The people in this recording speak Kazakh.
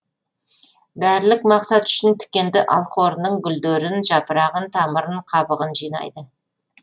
дәрілік мақсат үшін тікенді алхорының гүлдерін жапырағын тамырын қабығын жинайды